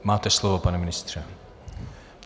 Máte slovo, pane ministře.